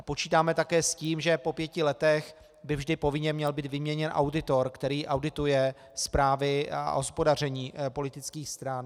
A počítáme také s tím, že po pěti letech by vždy povinně měl být vyměněn auditor, který audituje zprávy o hospodaření politických stran.